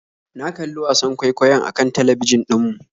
Na kalli wasan kwaikwayon akan talbijin ɗin mu